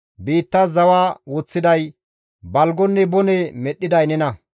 Biittas zawa woththiday, balgonne bone medhdhiday nena.